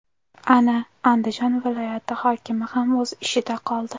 Ana, Andijon viloyat hokimi ham o‘z ishida qoldi.